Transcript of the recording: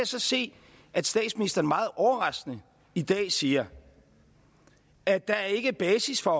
så se at statsministeren meget overraskende i dag siger at der ikke er basis for